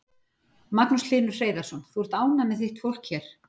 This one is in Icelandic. Magnús Hlynur Hreiðarsson: Þú ert ánægð með þitt fólk hér?